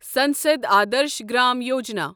Sansad Adarsh Gram Yojana